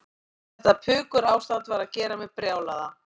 Þetta pukurástand var að gera mig brjálaða.